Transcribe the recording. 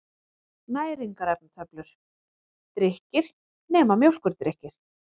Næringarefnatöflur: Drykkir, nema mjólkurdrykkir.